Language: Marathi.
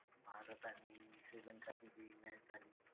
भारत आणि श्रीलंकाची जी match झाली.